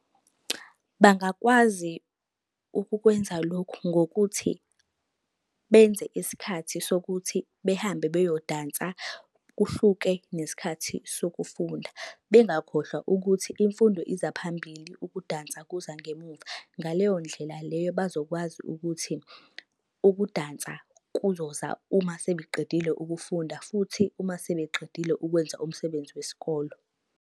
Bangakwazi ukukwenza lokhu ngokuthi benze isikhathi sokuthi behambe beyodansa, kuhluke nesikhathi sokufunda. Bengakhohlwa ukuthi imfundo iza phambili, ukudansa kuza ngemuva. Ngaleyo ndlela leyo, bazokwazi ukuthi ukudansa kuzoza uma sebeqedile ukufunda futhi uma sebeqedile ukwenza umsebenzi wesikolo.